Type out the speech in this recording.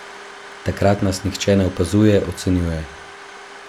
Takrat nas nihče ne opazuje, ocenjuje ...